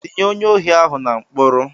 Ti ye onye ohi ahu na mkpọrọ!